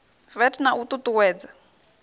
vat na u ṱu ṱuwedza